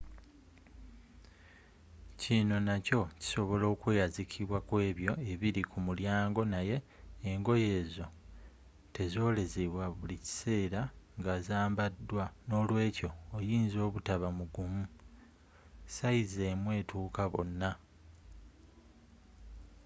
kino nakyo kisobola okweyazikibwa kw'ebyo ebiri ku mulyango naye engoye ezo tezolezzebwa buli kisera nga zzambaddwa nolwekyo oyinza obutaba mugumu sayizi emu etukka bona